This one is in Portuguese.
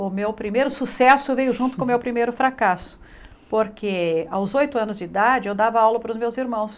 O meu primeiro sucesso veio junto com o meu primeiro fracasso, porque aos oito anos de idade eu dava aula para os meus irmãos.